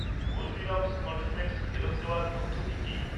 Haldiram's cornflakes ফেরত দেওয়ার পদ্ধতি কী?